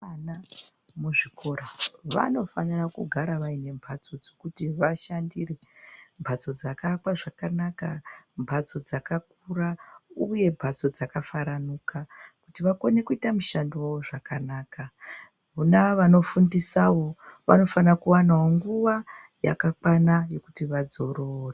Vana muzvikora vanofananira kugara vaine mbatso dzokuti vashandire. Mbatso dzakaakwa zvakanaka, mbatso dzakakura uye mbatso dzakafaranuka kuti vakone kuita mushando wawo zvakanaka. Vona vanofundisawo vanofana kuwanawo nguwa yakakwana yekuti vadzorore.